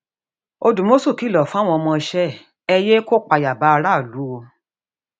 òdùmọṣù kìlọ fáwọn ọmọọṣẹ ẹ ẹ yéé kó ìpayà bá aráàlú o